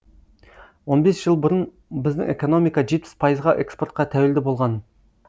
он бес жыл бұрын біздің экономика жетпіс пайызға экспортқа тәуелді болған